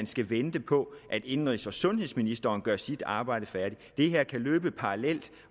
skal vente på at indenrigs og sundhedsministeren gør sit arbejde færdigt de her ting kan løbe parallelt